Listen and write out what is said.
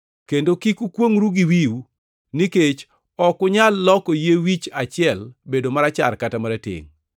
Kendo kik ukwongʼru gi wiu, nikech ok unyal loko yie wich achiel bedo marachar kata maratengʼ.